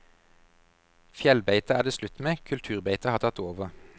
Fjellbeite er det slutt med, kulturbeitet har tatt over.